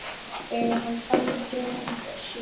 Þegar hann fann gæfu sína.